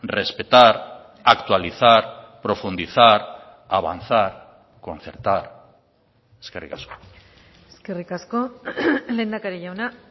respetar actualizar profundizar avanzar concertar eskerrik asko eskerrik asko lehendakari jauna